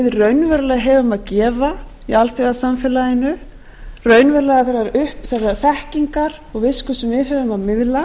raunverulega verið að þeirrar þekkingar og visku sem við höfum að miðla